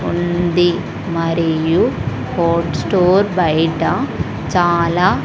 ఉంది మరియు ఫోట్ స్టోర్ బయిట చాలా--